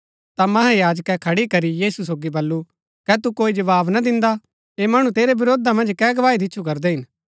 ता महायाजकै खड़ी करी यीशु सोगी बल्लू कै तु कोई जवाव ना दिन्दा ऐह मणु तेरै वरोधा मन्ज कै गवाही दिच्छु करदै हिन